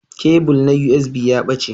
Kebul na USB ya ɓace.